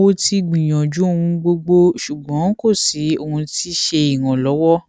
mo ti gbiyanju ohun gbogbo ṣugbọn ko si ohun ti ṣe iranlọwọ